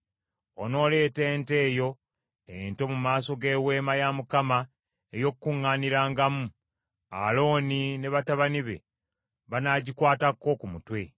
“Onooleeta ente eyo ento mu maaso g’Eweema ey’Okukuŋŋaanirangamu. Alooni ne batabani be banaagikwatako ku mutwe,